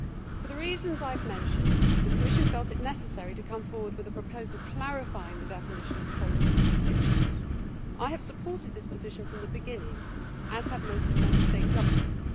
For the reasons I have mentioned, the Commission felt it necessary to come forward with a proposal clarifying the definition of pollen as a constituent'. I have supported this position from the beginning, as have most of the Member State governments.